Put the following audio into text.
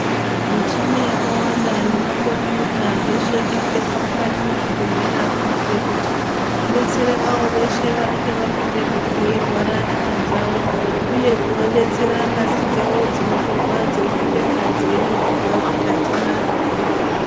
Michini yakawanda nema khombiyuta zveshe zvinobekwa mukati mwezvibhedhlera kuitira kuti zvidetsere avo veshe vanenge vapindemwo veirwara nyama dzavo uye kuva detsera ngazi dzavo dzinotorwa dzeipindemwo dzeiringirwa kuti adzina zvirwere ere.